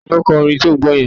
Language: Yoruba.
Ta ni ó kọ orin tí ò ń gbọ́ yẹn?